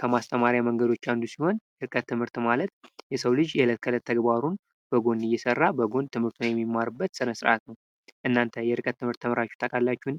ከማስተማሪያ መንገዶች አንዱ ሲሆን የርቀት ትምህርት ማለት የሰው ልጅ የእለት ተዕለት ተግባሩን በጎን እየሰራ በጎን ትምህርቱን የሚማርበት ስነስርዓት ነው ። እናንተ የርቀት ትምህርት ተምራችሁ ታውቃላችሁን ?